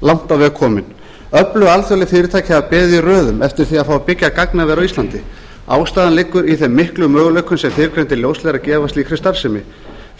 langt á veg komin öflug alþjóðleg fyrirtæki hafa beðið í röðum eftir því að fá að byggja gagnaver á íslandi ástæðan liggur í þeim miklu möguleikum sem fyrrgreindir ljósleiðarar gefa á slíkri starfsemi